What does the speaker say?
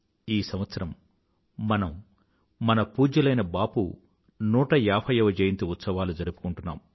ఈ సంవత్సరం మనం మన పూజ్యులైన బాపూ 150వ జయంతి ఉత్సవాలు జరుపుకుంటున్నాం